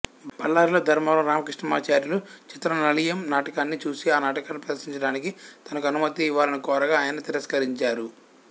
బళ్లారిలో ధర్మవరం రామకృష్ణమాచార్యులు చిత్రనళీయం నాటకాన్ని చూసి ఆ నాటకాన్ని ప్రదర్శించడానికి తనకు అనుమతి ఇవ్వాలని కోరగా ఆయన తిరస్కరించారు